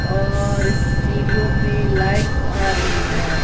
और सीढ़ियों पे लाइट्स आ रही है।